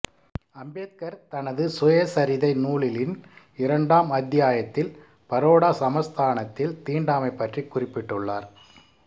அம்பேத்கர் தனது சுயசரிதை நூலிலின் இரண்டாம் அத்தியாயத்தில் பரோடா சமஸ்தானத்தில் தீண்டாமை பற்றி குறிப்பிட்டுள்ளார்